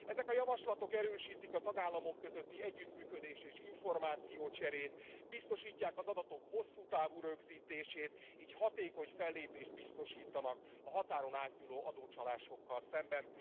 Ezek a javaslatok erősítik a tagállamok közötti együttműködést és információcserét, biztosítják az adatok hosszú távú rögzítését, így hatékony fellépést biztosítanak a határon átnyúló adócsalásokkal szemben.